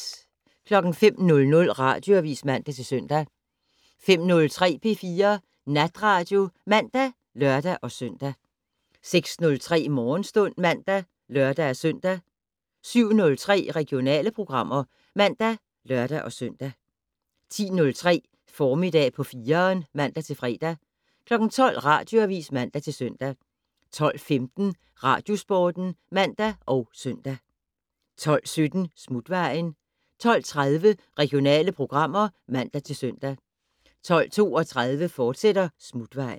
05:00: Radioavis (man-søn) 05:03: P4 Natradio (man og lør-søn) 06:03: Morgenstund (man og lør-søn) 07:03: Regionale programmer (man og lør-søn) 10:03: Formiddag på 4'eren (man-fre) 12:00: Radioavis (man-søn) 12:15: Radiosporten (man og søn) 12:17: Smutvejen 12:30: Regionale programmer (man-søn) 12:32: Smutvejen, fortsat